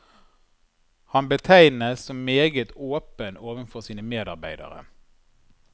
Han betegnes som meget åpen overfor sine medarbeidere.